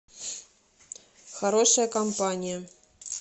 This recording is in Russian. хорошая компания